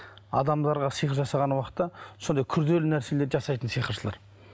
адамдарға сиқыр жасаған уақытта сондай күрделі нәрселерді жасайтын сиқыршылар